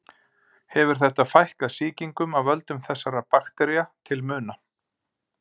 Hefur þetta fækkað sýkingum af völdum þessara baktería til muna.